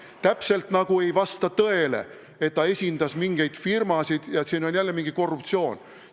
Täpselt nagu ei vasta tõele, et ta esindas mingeid firmasid ja et siin on jälle mingi korruptsioon.